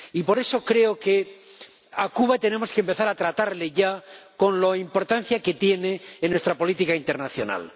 Y por eso creo que a Cuba tenemos que empezar a tratarla ya con la importancia que tiene en nuestra política internacional.